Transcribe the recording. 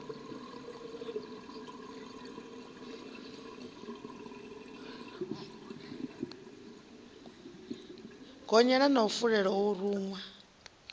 gonyela na fulela o ruṅwa